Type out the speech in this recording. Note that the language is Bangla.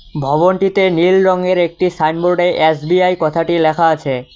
ভবনটিতে নীল রঙের একটি সাইনবোর্ডে এস_বি_আই কথাটি লেখা আছে।